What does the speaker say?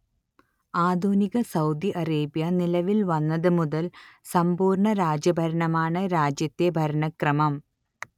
ആധുനിക Saudi Arabia നിലവിൽ വന്നത് മുതൽ സമ്പൂർണ രാജ ഭരണമാണ് രാജ്യത്തെ ഭരണക്രമം